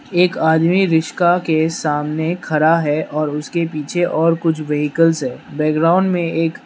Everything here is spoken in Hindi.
एक आदमी रिस्का के सामने खड़ा है और उसके पीछे और कुछ व्हीकल्स है बैकग्राउंड में एक --